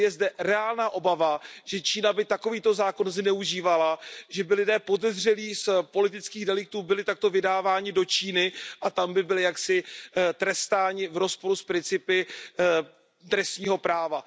Tedy je zde reálná obava, že by Čína takový zákon zneužívala, že by lidé podezřelí z politických deliktů byli takto vydáváni do Číny a tam by byli trestáni v rozporu s principy trestního práva.